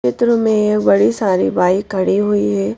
क्षेत्र में एक बड़ी सारी बाइक खड़ी हुई है।